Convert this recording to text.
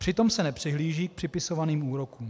Přitom se nepřihlíží k připisovaným úrokům.